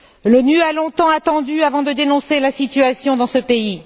L'ONU a longtemps attendu avant de dénoncer la situation dans ce pays.